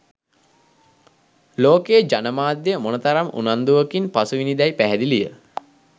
ලෝකයේ ජනමාධ්‍ය මොන තරම් උනන්දුවකින් පසුවිණි දැයි පැහැදිලිය